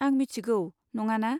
आं मिथिगौ, नङाना?